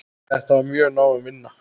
Þetta er mjög náin vinna.